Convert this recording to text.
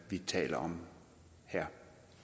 vi taler om her